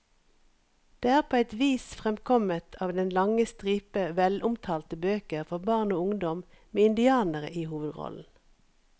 Det er på et vis fremkommet av den lange stripe velomtalte bøker for barn og ungdom med indianere i hovedrollen.